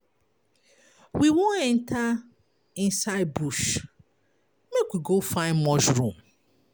We wan enter inside bush make we go find mushroom.